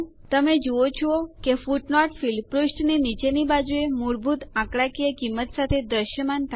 તમે જુઓ છો કે ફૂટનોટ ફીલ્ડ પુષ્ઠની નીચેની બાજુએ મૂળભૂત આંકડાકીય કિંમત સાથે દ્રશ્યમાન થાય છે